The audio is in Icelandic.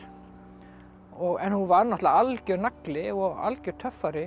en hún var náttúrulega algjör nagli og algjör töffari